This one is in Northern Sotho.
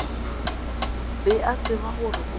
be a tseba gore o